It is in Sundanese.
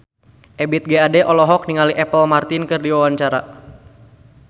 Ebith G. Ade olohok ningali Apple Martin keur diwawancara